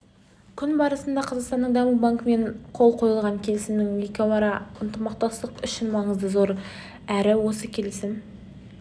күн барысында қазақстанның даму банкімен қол қойылған келісімнің екеуара ынтымақтастық үшін маңызы зор әрі осы келісім